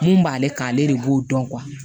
Mun b'ale kan ale de b'o dɔn